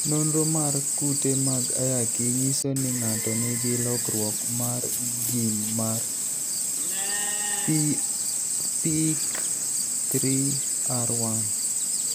Nonro mar kute mag ayaki nyiso ni ng'ato nigi lokruok mar gene mar PIK3R1.